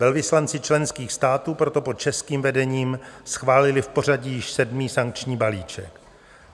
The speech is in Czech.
Velvyslanci členských států proto pod českým vedením schválili v pořadí již sedmý sankční balíček.